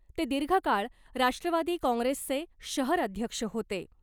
ते दिर्घकाळ राष्ट्रवादी काँग्रेसचे शहर अध्यक्ष होते .